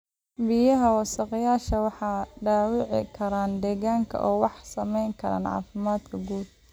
Biyaha wasakhaysan waxay dhaawici karaan deegaanka oo waxay saameyn karaan caafimaadka guud.